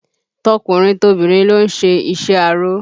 Tọkùnrin tobìnrin ló ń ṣe iṣẹ́ aró